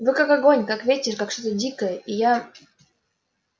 вы как огонь как ветер как что-то дикое и я